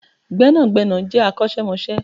Gbẹ́nàgbẹ́nà je akosemose